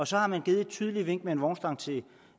så har man givet et tydeligt vink med en vognstang til